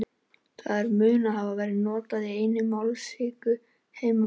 þar mun það hafa verið notað í einni af mállýskum heimamanna